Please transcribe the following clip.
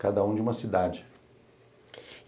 Cada um de uma cidade.